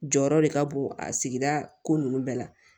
Jɔyɔrɔ de ka bon a sigida ko ninnu bɛɛ la